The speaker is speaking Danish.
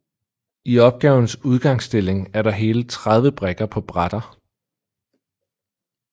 I opgavens udgangsstilling er der hele 30 brikker på brætter